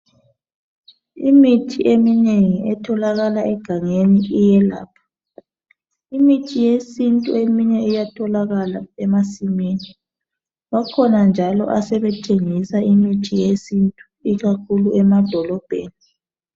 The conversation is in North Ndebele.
Imithi eminengi etholakala egangeni iyelapha. Imithi yesintu eminye iyatholakala emasimini, bakhona njalo asebethengisa imithi yesintu ikakhulu emadolobheni.